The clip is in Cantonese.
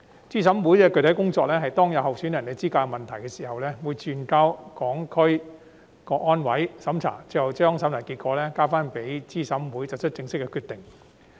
資審會的具體工作是當有候選人的資格出現問題時，會轉交香港特別行政區成立維護國家安全委員會審查，最後將審查結果交回資審會作出正式決定。